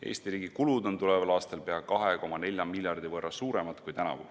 Eesti riigi kulud on tuleval aastal pea 2,4 miljardi võrra suuremad kui tänavu.